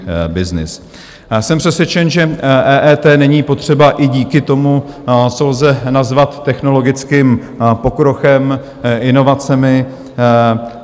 Jsem přesvědčen, že EET není potřeba i díky tomu, co lze nazvat technologickým pokrokem, inovacemi.